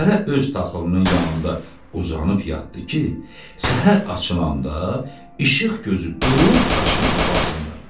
Hərə öz taxılının yanında uzanıb yatdı ki, səhər açılanda işıq gözü durub daşıyıb aparsınlar.